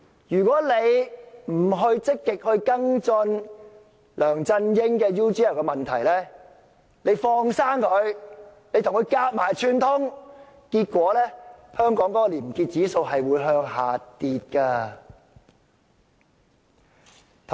如果大家不積極跟進梁振英與 UGL 的問題，把他"放生"，而且與他合謀串通，香港的廉潔指數便會向下跌。